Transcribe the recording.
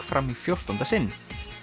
fram í fjórtánda sinn